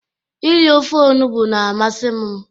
Ịri ofe ọnugbo na-amasi m